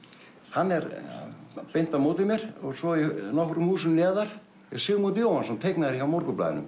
hann er beint á móti mér svo nokkrum húsum neðar er Sigmund Jóhannsson teiknari hjá Morgunblaðinu